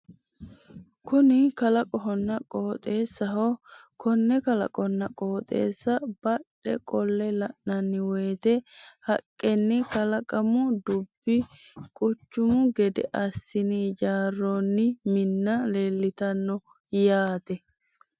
Kuni kalaqohonna qooxeessaho konne kalaqonna qooxeessa badhe qolle la'nanni woyte haqqenn kalaqamu dubbi quchumu gede assin ijaaroonni minna leeltanno yaate.